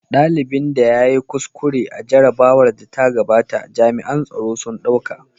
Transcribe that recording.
Dalibin da ya yi kuskure a jarrabawar da ta gabata jami'an tsaro sun ɗauka.